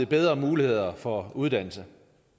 bedre muligheder for uddannelse